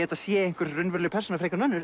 þetta sé raunveruleg persóna frekar en önnur